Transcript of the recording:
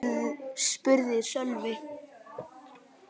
spurði Sölvi.